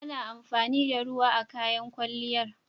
Ana amfani da ruwa a kayan kwalliyar.